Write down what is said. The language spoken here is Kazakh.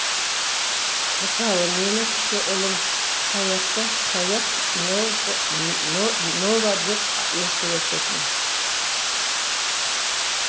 мысалы менің кіші ұлым саятты саят нова деп еркелететін